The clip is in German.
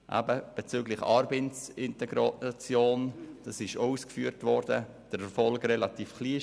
Bezüglich Arbeitsintegration – dies wurde bereits ausgeführt – war der Erfolg ziemlich klein.